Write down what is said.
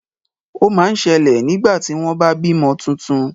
Ó ma ń ṣẹlẹ̀ nígbà tí wọ́n bá bímọ tuntun.